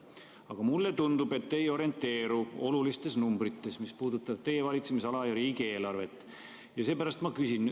Aga mulle tundub, et te ei orienteeru olulistes numbrites, mis puudutavad teie valitsemisala ja riigieelarvet, seepärast ma küsin.